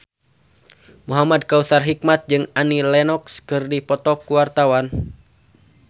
Muhamad Kautsar Hikmat jeung Annie Lenox keur dipoto ku wartawan